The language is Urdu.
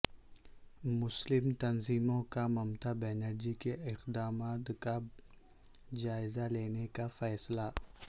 مسلم تنظیموں کا ممتا بنرجی کے اقدامات کا جائزہ لینے کا فیصلہ